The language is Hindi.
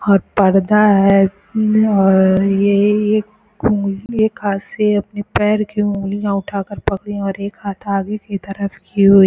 और पर्दा है और ये एक एक हाथ से अपने पैर की उगलिया उठाकर पकड़ी है और एक हाथ आगे की तरफ की हुई --